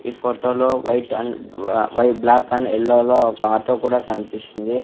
ఈ ఫోటోలో white and వై బ్లాక్ అండ్ ఎల్లో లో ఒక ఆటో కూడా కన్పిస్తుంది.